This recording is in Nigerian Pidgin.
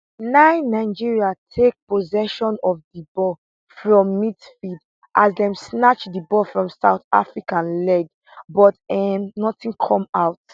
9 nigeria take possession of di ball from midfield as dem snatch di ball from south africa leg but um nothing come out